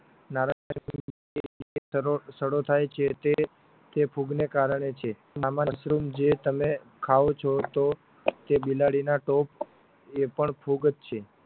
નારંગી નો સડો થાય છે તે તે ફૂગને કારણે છે જે આમ મશરૂમ જે તમે ખાઓ છો તો તે બિલાડીના ટોપ એ પણ ફુગ જ છે